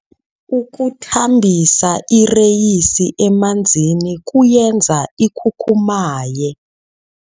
Ukuthambisa ireyisi emanzini kuyenza ikhukhumaye.